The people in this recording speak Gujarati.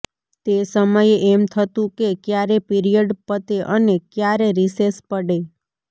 તે સમયે એમ થતું કે ક્યારે પીરિયડ પતે અને ક્યારે રિસેસ પડે